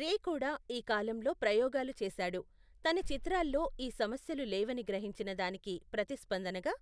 రే కూడా ఈ కాలంలో ప్రయోగాలు చేశాడు, తన చిత్రాల్లో ఈ సమస్యలు లేవని గ్రహించిన దానికి ప్రతిస్పందనగా